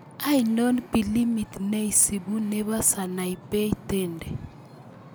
Ainon pilimit nesibuu ne po sanaipei Tande